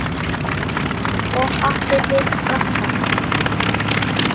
Og átti við frakkann.